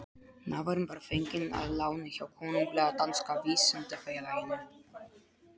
Nafarinn var fenginn að láni hjá Konunglega danska vísindafélaginu.